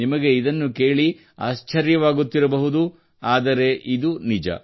ನಿಮಗೆ ಇದನ್ನು ಕೇಳಿ ಆಶ್ಚರ್ಯವಾಗುತ್ತಿರಬಹುದು ಆದರೆ ಇದು ನಿಜ